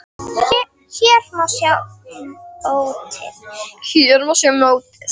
Hér má sjá mótið.